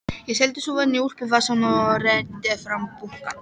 Ég seildist ofan í úlpuvasann og reiddi fram bunkann.